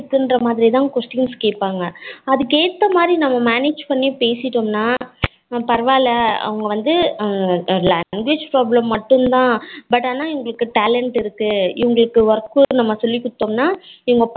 இதுக்கு தகுந்த மாதிரி தான் questions கேப்பாங்கா அதுக்கு ஏத்த மாதிரி நாம manage பண்ணி பேசிடோம்னா பரவாயில்ல அவங்க வந்த language problem மட்டும் தான் but ஆனா இவங்களுக்ககு talent இருக்கு இவங்களுக்கு நம்ம work flow நம்ம சொல்லி குடுத்தோம்னா இவங்க